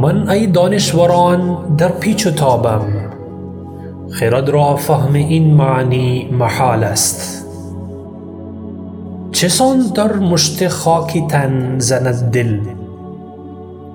من ای دانشوران در پیچ و تابم خرد را فهم این معنی محال است چسان در مشت خاکی تن زند دل